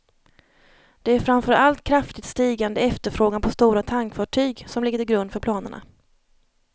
Det är framför allt kraftigt stigande efterfrågan på stora tankfartyg som ligger till grund för planerna.